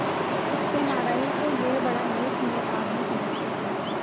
सत्यनाराण को यह बड़ा नेकनीयत आदमी समझते थे